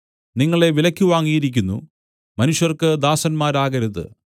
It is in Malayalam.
നിങ്ങളെ വിലയ്ക്ക് വാങ്ങിയിരിക്കുന്നു മനുഷ്യർക്ക് ദാസന്മാരാകരുത്